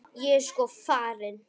Ég er sko farin.